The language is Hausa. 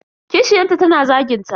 Kishiyanta tana zagin ta.